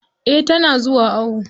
Eh tana zuwa awo.